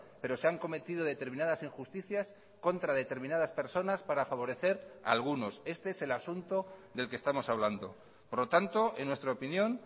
pero se han cometido determinadas injusticias contra determinadas personas para favorecer a algunos este es el asunto del que estamos hablando por lo tanto en nuestra opinión